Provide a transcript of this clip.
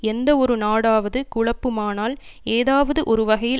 எந்தவொரு நாடாவது குழப்புமானால் ஏதாவது ஒரு வகையில்